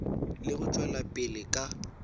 le go tšwela pele ka